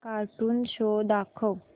cartoon show दाखव